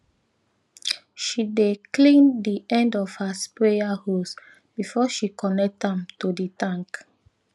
she dey clean di end of her sprayer hose before she connect am to di tank